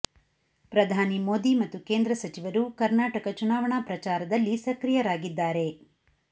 ಪ್ರಧಾನಿ ಮೋದಿ ಮತ್ತು ಕೇಂದ್ರ ಸಚಿವರು ಕರ್ನಾಟಕ ಚುನಾವಣಾ ಪ್ರಚಾರದಲ್ಲಿ ಸಕ್ರೀಯರಾಗಿದ್ದರಾರೆ